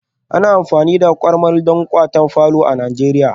Ana amfani da karmal don kawata falo a nigeria